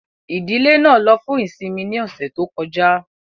Ìdílé náà ló fún ìsinmi ní ọ̀sẹ̀ tó kọjá